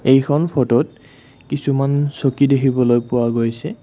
এইখন ফটোত কিছুমান চকী দেখিবলৈ পোৱা গৈছে।